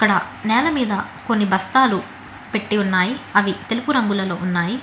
అక్కడ నెల మీద కొన్ని బస్తాలు పెట్టి ఉన్నాయి అవి తెలుపు రంగు లో ఉన్నాయి.